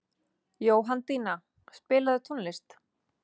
Jóhanndína, spilaðu tónlist.